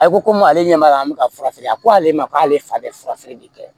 A ko komi ale ɲɛ b'a la an bɛ ka fura feere a ko ale ma k'ale fa bɛ fura feere de kɛ